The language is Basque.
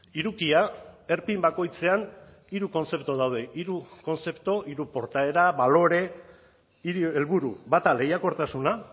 hirukia erpin bakoitzean hiru kontzeptu daude hiru kontzeptu hiru portaera balore hiru helburu bata lehiakortasuna